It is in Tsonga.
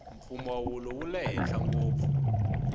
mpfumawulo wule henhla ngopfu